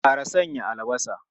Kar a sanya albasa!